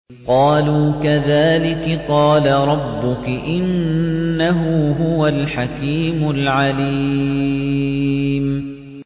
قَالُوا كَذَٰلِكِ قَالَ رَبُّكِ ۖ إِنَّهُ هُوَ الْحَكِيمُ الْعَلِيمُ